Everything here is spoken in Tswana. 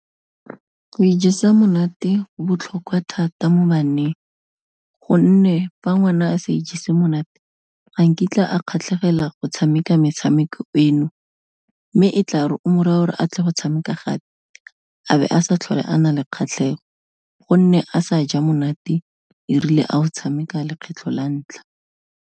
Go ijesa monate go botlhokwa thata mo baneng, gonne fa ngwana a se ijesa monate ga nkitla a kgatlhegela go tshameka metshameko eno, mme e tla re o mo raya o re atle go tshameka gape, a be a sa tlhole a na le kgatlhego gonne a sa ja monate erile a o tshameka lekgwetlho la ntlha.